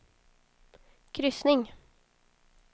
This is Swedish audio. kryssning